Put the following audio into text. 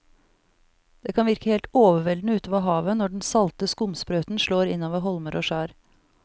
Det kan virke helt overveldende ute ved havet når den salte skumsprøyten slår innover holmer og skjær.